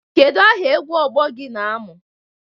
Kedu aha egwu ọgbọ gị na-amụ?